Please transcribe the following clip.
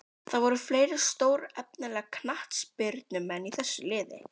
Það voru fleiri stórefnilegir knattspyrnumenn í þessu liði.